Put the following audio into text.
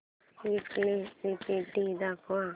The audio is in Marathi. वीकली रिपोर्ट दाखव